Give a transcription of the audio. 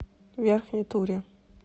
верхней туре